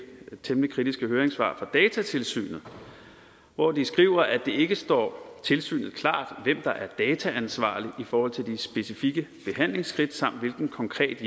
temmelig kritiske høringssvar fra datatilsynet hvor de skriver at det ikke står tilsynet klart hvem der er dataansvarlig i forhold til de specifikke behandlingsskridt samt hvilken konkret